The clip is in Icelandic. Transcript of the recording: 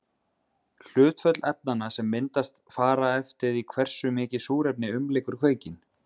Hlutföll efnanna sem myndast fara eftir því hversu mikið súrefni umlykur kveikinn.